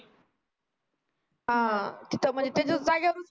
हा तिथे म्हणजे त्यांचाच जागे वर